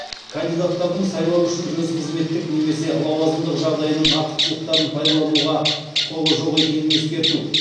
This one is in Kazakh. кандидаттардың сайлау үшін өз қызметтік немесе лауазымдық жағдайының артықшылықтарын пайдалануға құқығы жоқ екенін ескерту